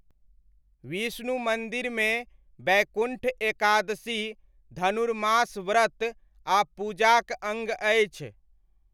विष्णु मन्दिरमे वैकुण्ठ एकादशी धनुर्मास व्रत आ पूजाक अङ्ग अछि।